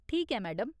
ठीक ऐ, मैडम।